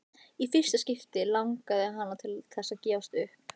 Í fyrsta skipti langaði hana til þess að gefast upp.